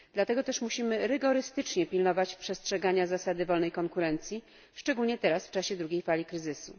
Dlatego też musimy rygorystycznie pilnować przestrzegania zasady wolnej konkurencji, szczególnie teraz, w czasie drugiej fali kryzysu.